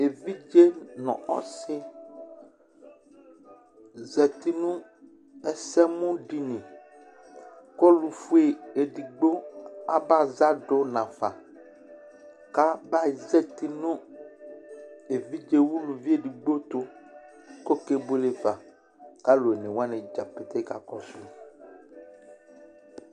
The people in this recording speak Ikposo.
Evidze ŋu ɔsi zɛti ŋu ɛsɛmu ɖìŋí kʋ ɔlufʋe ɛɖigbo aba za ɖu ŋafa Kʋ aba zɛti ŋu evidze ɛɖigbo tu kʋ ɔkebʋele fa kʋ alu ɔne waŋi dzakeke kakɔsu